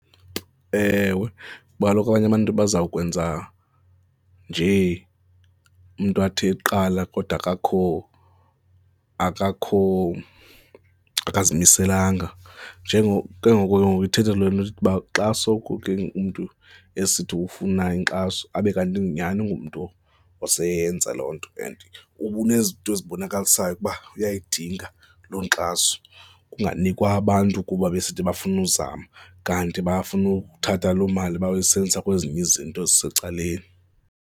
Ewe, kuba kaloku abanye abantu bazawukwenza njee, umntu athi eqala kodwa akakho, akakho, akazimiselanga ke ngoko ke ngoku ithetha loo nto uba xa soko ke umntu esithi ufuna inkxaso, abe kanti nyhani ngumntu oseyenza loo nto and uba unezinto ezibonakalisayo ukuba uyayidinga lo nkxaso, kunganikwa abantu kuba besithi bafuna uzama kanti bafuna ukuthatha loo mali bayoyisebenzisa kwezinye izinto ezisecaleni.